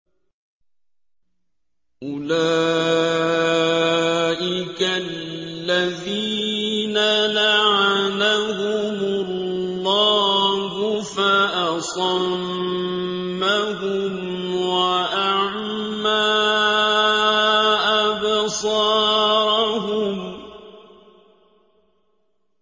أُولَٰئِكَ الَّذِينَ لَعَنَهُمُ اللَّهُ فَأَصَمَّهُمْ وَأَعْمَىٰ أَبْصَارَهُمْ